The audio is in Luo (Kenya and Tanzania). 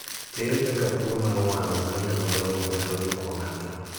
Ere kaka tuo m,ar wang mar joma dong'o nyalo juko ng'ato?